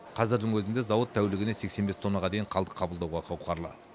қазірдің өзінде зауыт тәулігіне сексен бес тоннаға дейін қалдық қабылдауға қауқарлы